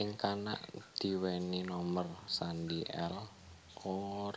Ing kana diwenehi nomer sandhi L Or